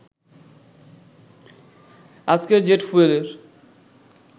আজকের জেট ফুয়েলের